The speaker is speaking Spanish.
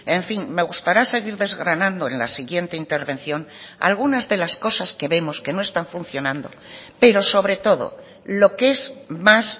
en fin me gustará seguir desgranando en la siguiente intervención algunas de las cosas que vemos que no están funcionando pero sobre todo lo que es más